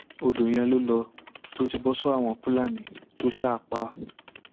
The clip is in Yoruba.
ọdọ yẹn ló lọ tó ti bọ sọwọ àwọn fúlàní tó sá a pa